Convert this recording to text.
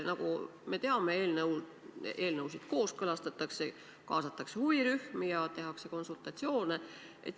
Nagu me teame, eelnõusid kooskõlastatakse, kaasatakse huvirühmi ja tehakse konsultatsioone.